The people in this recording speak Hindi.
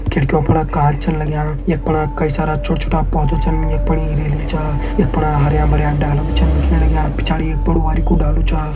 खिड़कियों फणा कांच छन लग्यां यख फणा कई सारा छोटा छोटा पौधा छन यख फणी रेलिंग छा यख फणा हरयां भरयां डाला भी छन दिखेण लग्यां पिछाड़ी एक बड़ु बारिकु डालू छा।